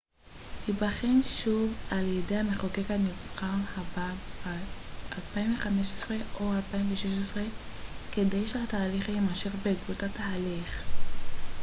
בעקבות התהליך hjr-3 ייבחן שוב על ידי המחוקק הנבחר הבא ב-2015 או 2016 כדי שהתהליך יימשך